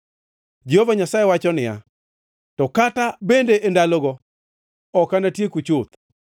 Jehova Nyasaye wacho niya, “To kata bende e ndalogo, ok anatieku chuth.